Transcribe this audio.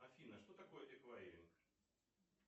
афина что такое эквайринг